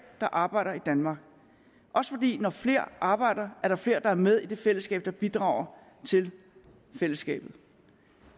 der arbejder i danmark når flere arbejder er der flere der er med i det fællesskab der bidrager til fællesskabet